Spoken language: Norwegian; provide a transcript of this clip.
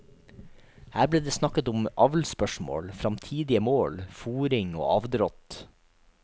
Her ble det snakket om avlsspørsmål, framtidige mål, fôring og avdrått.